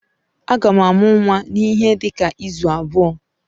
Agam amu nnwa n'ihe dika izu abuo.